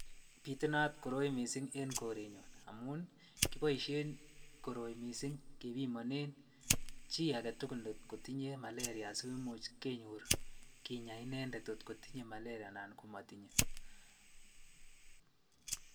Bitunat koroi mising en korenyun amun kiboishen koroi mising kebimonen chii aketukul ngotinye maleria asikomuch kenyor kinya inendet kot kotinye maleria anan ko motinye.